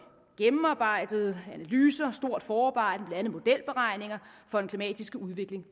gennemarbejdede analyser stort forarbejde blandt andet modelberegninger for den klimatiske udvikling